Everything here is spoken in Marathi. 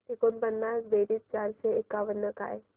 एकोणपन्नास बेरीज चारशे एकावन्न काय